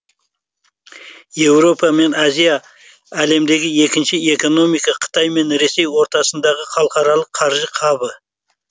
еуропа мен азия әлемдегі екінші экономика қытай мен ресей ортасындағы халықаралық қаржы хабы